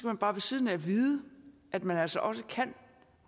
man bare ved siden af vide at man altså også